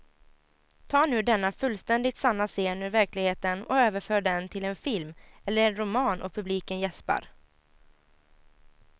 Ta nu denna fullständigt sanna scen ur verkligheten och överför den till en film eller en roman och publiken jäspar.